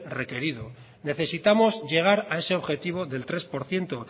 requerido necesitamos llegar a ese objetivo del tres por ciento